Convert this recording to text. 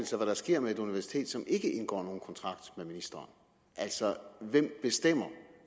sig hvad der sker med et universitet som ikke indgår nogen kontrakt med ministeren altså hvem bestemmer